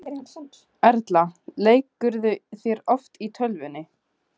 Erla: Leikurðu þér oft í tölvunni?